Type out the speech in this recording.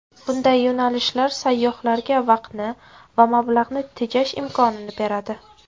Bunday yo‘nalishlar sayyohlarga vaqtni va mablag‘ni tejash imkonini beradi.